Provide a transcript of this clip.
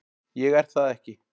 Ég er það ekki.